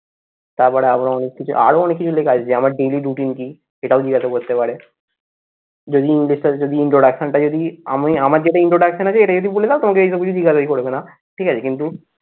তারপরে আমরা অনেক কিছু আরো অনেক কিছু লেখা আছে যে আমার daily routine কি? সেটাও জিজ্ঞাসা করতে পারে যদি introduction টা যদি আমি আমার যেটা introduction আছে এটা যদি বলে দাও তোমাকে এই সব কিছু ঠিকাদারি করবে না ঠিক আছে কিন্তু